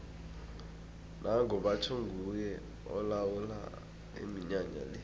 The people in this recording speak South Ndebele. nango batjho nguye olawula iminyanya le